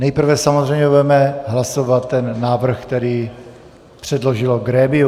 Nejprve samozřejmě budeme hlasovat ten návrh, který předložilo grémium.